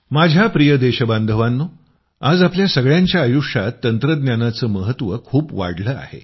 माझ्या प्रिय देशबांधवांनो आज आपल्या सगळ्यांच्या आयुष्यात तंत्रज्ञानाचं महत्त्व खूप वाढलंय